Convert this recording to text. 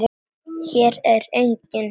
Hér er enginn.